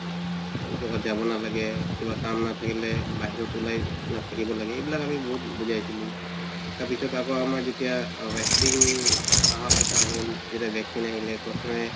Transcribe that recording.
জাগাত যাব নালাগে। কিবা কাম নাথাকিলে বাহিৰত উলাই নাথাকিব লাগে এইবিলাক আমি বহুত বুজাইছিলো তাৰ পাছত আমাৰ যেতিয়া vaccine আহা কথা যেতিয়া vaccine আহিলে প্ৰথমে